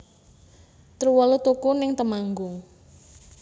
Truwelu tuku ning Temanggung